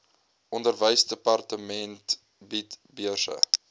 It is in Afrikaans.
onderwysdepartement bied beurse